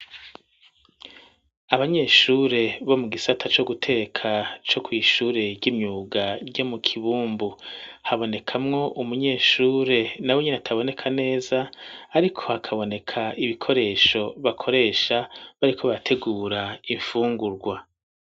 Abanyeshure bo mu gisata co guteka, co kw'ishure ry'imyuga ryo mu Kibumbu; habonekamwo umunyeshure, nawe nyene ataboneka neza, ariko hakaboneka ibikoresho bakoresha, bariko barategura imfungurwa.